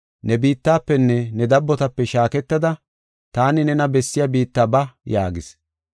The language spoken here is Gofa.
‘Ne biittafenne ne dabotape shaaketada taani nena bessiya biitta ba’ yaagis.